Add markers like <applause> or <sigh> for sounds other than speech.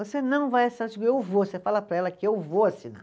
Você não vai assinar, <unintelligible> eu vou, você fala para ela que eu vou assinar.